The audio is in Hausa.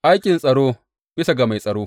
Aikin tsaro bisa ga mai tsaro.